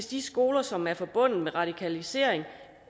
de skoler som er forbundet med radikalisering